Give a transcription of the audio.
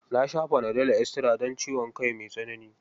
Na sha fanadol estira don ciwon kai mai tsanani.